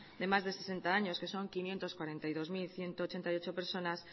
de más de sesenta años que son quinientos cuarenta y dos mil ciento ochenta y ocho personas